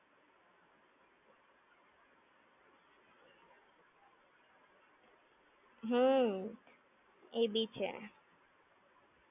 ત્યારે આપણે કઈ એટલું, reservation કે waiting ના ચક્કર માં પાડવાનું યાર. ખાલી ખોટું problem માં મુકાઈ જવાય આ તો!